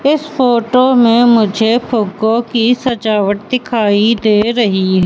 इस फोटो में मुझे फुग्गों की सजावट दिखाई दे रही--